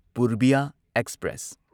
Purbiya express